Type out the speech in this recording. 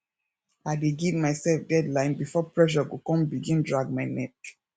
i dey giv myself deadline bifor pressure go con begin drag my neck